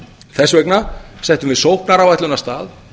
þess vegna settum við sóknaráætlun af stað